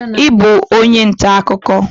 I bụ onye ntaakụkọ?